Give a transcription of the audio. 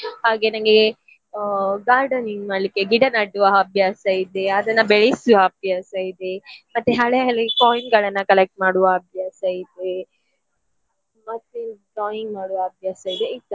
ಹಾಗೆ ನನ್ಗೆ ಆ gardening ಮಾಡ್ಲಿಕ್ಕೆ ಗಿಡ ನೆಡುವ ಹವ್ಯಾಸ ಇದೆ ಅದನ್ನು ಬೆಳೆಸುವ ಹವ್ಯಾಸ ಇದೆ ಮತ್ತೆ ಹಳೆ ಹಳೆ coin ಗಳನ್ನ collect ಮಾಡುವ ಹವ್ಯಾಸ ಇದೆ. ಮತ್ತೆ drawing ಮಾಡುವ ಹವ್ಯಾಸ ಇದೆ.